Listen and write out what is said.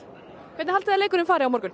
hvernig haldiði að leikurinn fari á morgun